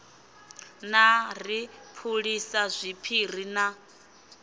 na ri phulisa zwiphiri na